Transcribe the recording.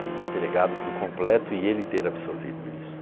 me entregado para o completo e ele ter absorvido isso.